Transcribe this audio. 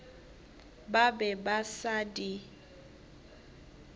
ba be ba sa di